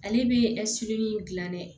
Ale bɛ dilan dɛ